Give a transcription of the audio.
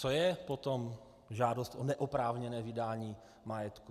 Co je potom žádost o neoprávněné vydání majetku?